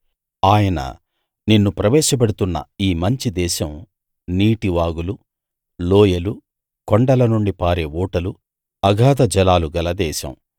ఆయన నిన్ను ప్రవేశపెడుతున్న ఈ మంచి దేశం నీటి వాగులు లోయలు కొండల నుండి పారే ఊటలు అగాధ జలాలు గల దేశం